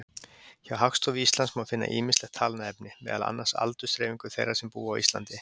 Hjá Hagstofu Íslands má finna ýmislegt talnaefni, meðal annars aldursdreifingu þeirra sem búa á Íslandi.